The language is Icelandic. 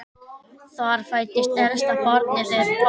Þar fæddist elsta barn þeirra.